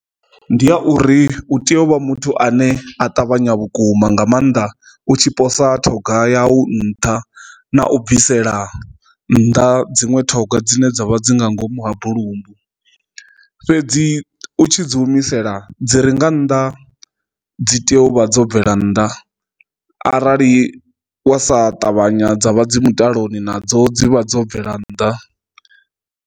Ndi a uri u tea u vha muthu ane a ṱavhanya vhukuma nga maanḓa u tshi posa ṱhoga ya u nṱha na u bvisela nnḓa dziṅwe ṱhoga dzine dzavha dzi nga ngomu ha bulumbu fhedzi u tshi dzi humisela dzi ri nga nnḓa dzi tea u vha dzo bvela nnḓa arali wa sa ṱavhanya dza vha dzi mutaloni nadzo dzi vha dzo bvela nnḓa.